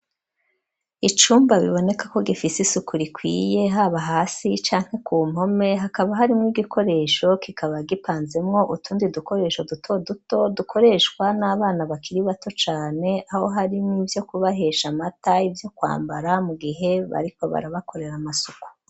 Icumba, biboneka ko, gifise isuku rikwiye, haba hasi, canke ku mpome; hakaba harimwo igikoresho, kikaba gipanzemwo, utundi dukoresho, duto duto, dukoreshwa n'abana, bakiri bato cane; aho harimwo: ivyo kubahesha amata, ivyo kwambara, mu gihe bariko, barabakorera amasuku.